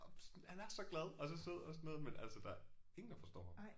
Og han er så glad og så sød og sådan noget men altså der er ingen der forstår ham